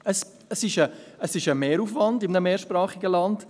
Es ist ein Mehraufwand in einem mehrsprachigen Land.